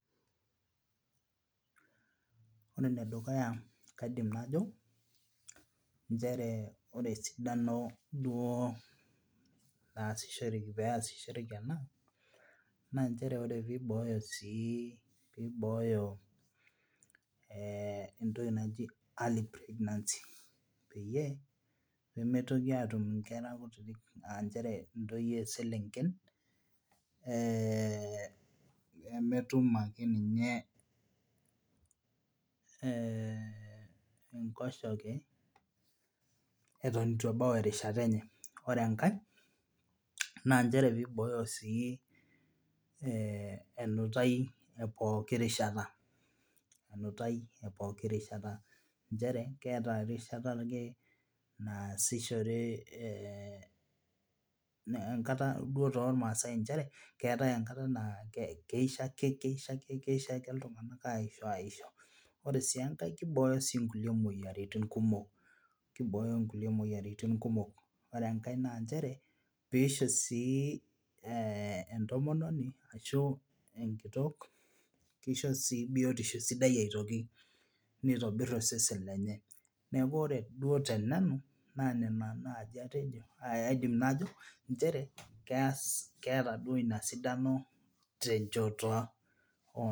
Ore enedukuya kaidim najo nchere ore esidano duo naasishoreki peesishoreki ena naa nchere ore piibooyo sii piibooyo entoki naji early pregnancy peyie mitoki atum nkera kutitik nchere ntoyie selenken ee emetum akeninye enkoshoke eton eitu ebau erishata enye Ore engae naa nchere piibooyo sii enutai epooki rishata nchere keeta erishata ake naasishore eeh enkata duo tolmaasai nchere keetai enkata naa keisho ake keisho keisho ake iltung'anak aisho aisho aisho Ore sii engae naa kibooyo nkulie moyiaritin kumok kibooyo nkulie moyiaritin kumok Ore engae naa nchere piisho sii entomononi ashu enkitok, keisho sii biyotisho sidai aitoki nitobir osesen lenye neeku ore duo tenanu naa nena naaji atejo aaidim najo nchere keas keeta duo ina sidano tenchoto oo